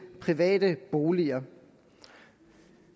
private boliger